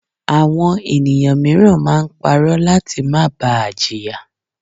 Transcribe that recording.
Àwọn ènìyàn míràn máa ń parọ́ láti má ba à jìyà